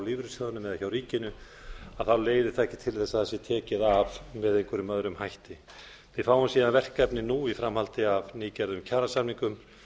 lífeyrissjóðnum eða hjá ríkinu þá leiði það ekki til þess að það sé tekið af með einhverjum öðrum hætti við fáum síðan verkefnið nú í framhaldi af nýgerðum kjarasamningum